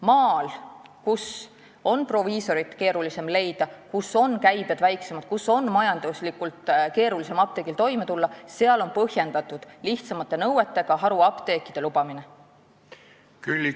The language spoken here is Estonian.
Maal, kus proviisorit on keerulisem leida, kus käibed on väiksemad ja majanduslikult on keerulisem toime tulla, on lihtsamate nõuetega haruapteekide lubamine põhjendatud.